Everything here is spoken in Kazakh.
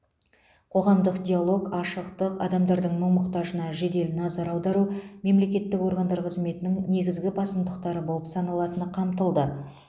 қоғамдық диалог ашықтық адамдардың мұң мұқтажына жедел назар аудару мемлекеттік органдар қызметінің негізгі басымдықтары болып саналатыны қамтылды